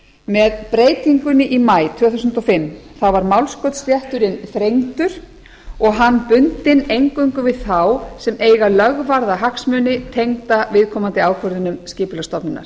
með breytingunni í maí tvö þúsund og fimm var málskotsrétturinn þrengdur og hann bundinn eingöngu við þá sem eiga lögvarða hagsmuni tengda viðkomandi ákvörðunum skipulagsstofnunar